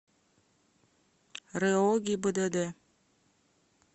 рэо гибдд